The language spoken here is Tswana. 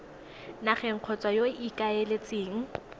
nageng kgotsa yo o ikaeletseng